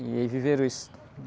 E aí viveram isso.